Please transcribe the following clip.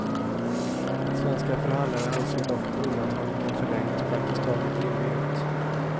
Svenska förhandlare anser dock att undantaget kan förlängas praktiskt taget i evighet.